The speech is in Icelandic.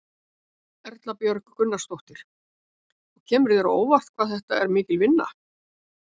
Erla Björg Gunnarsdóttir: Og kemur þér á óvart hvað þetta er mikil vinna?